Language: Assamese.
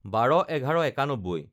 ১২/১১/৯১